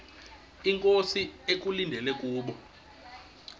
inkosi ekulindele kubo